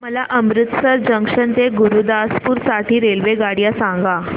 मला अमृतसर जंक्शन ते गुरुदासपुर साठी रेल्वेगाड्या सांगा